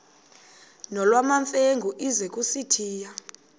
nolwamamfengu ize kusitiya